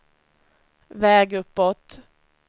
väg uppåt